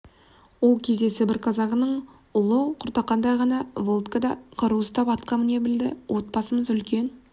ол кезде сібір казагының ұлы құртақандай ғана володька қару ұстап атқа міне білді отбасымыз үлкен